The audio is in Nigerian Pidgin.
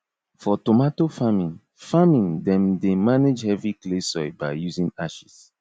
for tomato farming farming them dey manage heavy clay soil by using ashes